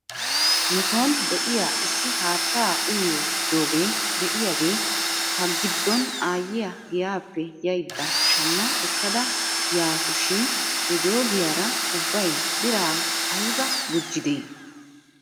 Nuson de'iyaa issi haattaa uyiyoo jooge de'iyaagee hagiddon aayyiyaa giyaappe yaydda shamma ekkada yasu shin he joogiyaara ubbay biraa ayba gujjidee?